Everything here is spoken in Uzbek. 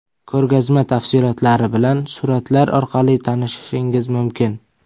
Ko‘rgazma tafsilotlari bilan suratlar orqali tanishishingiz mumkin.